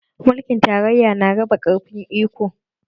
Mulkin tarayya na raba ƙarfin iko